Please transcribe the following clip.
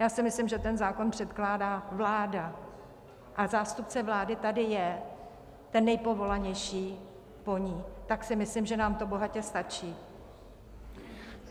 Já si myslím, že ten zákon předkládá vláda a zástupce vlády tady je, ten nejpovolanější po ní, tak si myslím, že nám to bohatě stačí.